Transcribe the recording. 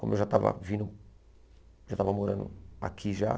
Como eu já estava vindo... Já estava morando aqui já.